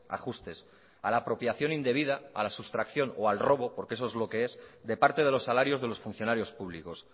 ajustes a la apropiación indebida a la sustracción o al robo porque eso es lo que es de parte de los salarios de los funcionarios públicos